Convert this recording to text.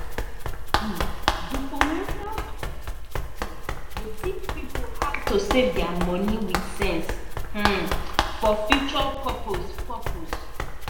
um di financial coach um dey teach pipo how to save dia money with sense um for future purpose. purpose.